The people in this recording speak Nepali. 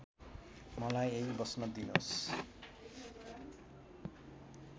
मलाई यहींँ बस्न दिनोस्